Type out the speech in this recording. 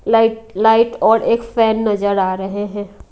Light light और एक fan नजर आ रहे हैं।